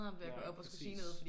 Nej præcis